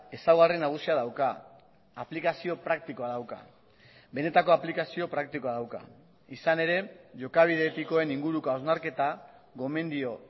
ezaugarri nagusia dauka aplikazio praktikoa dauka benetako aplikazio praktikoa dauka izan ere jokabide etikoen inguruko hausnarketa gomendio